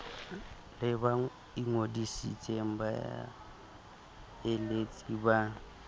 le ba ingodisitseng baeletsi ba